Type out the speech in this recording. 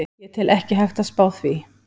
Ég tel ekki hægt að spá því.